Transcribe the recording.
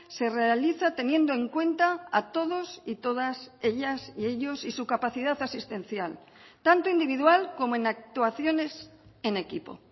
se realiza teniendo en cuenta a todos y todas ellas y ellos y su capacidad asistencial tanto individual como en actuaciones en equipo